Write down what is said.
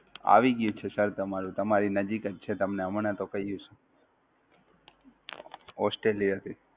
Australia થી, આવી ગ્યું છે સાહેબ તમારું, તમારી નજીક જ છે તમને હમણાં તો કહીએ છે.